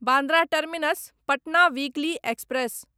Bandra terminus Patna weekly express